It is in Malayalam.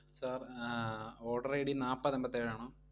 Sir ആഹ് order ID നാപ്പത് എമ്പത്തേഴാണോ?